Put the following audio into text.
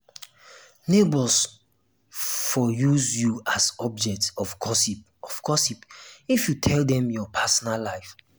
neighbors for um use you as object of gossip of gossip if you tell dem your personal life